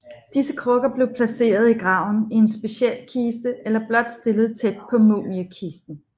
Disse krukker blev placeret i graven i en speciel kiste eller blot stillet tæt på mumiekisten